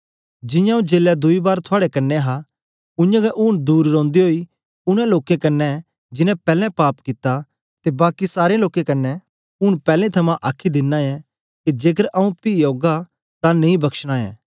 जियां आंऊँ जेलै दुई बार थुआड़े कन्ने हा उयांगै ऊन दूर रौंदे ओई उनै लोकें कन्ने जिनैं पैलैं पाप कित्ता ते बाकी सारें लोकें क्न्ने ऊन पैलैं थमां आखी दिना ऐं के जेकर आंऊँ पी औगा तां नेई बकशना ऐ